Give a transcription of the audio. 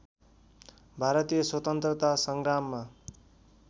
भारतीय स्वतन्त्रता सङ्ग्राममा